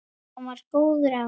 Hann var góður afi.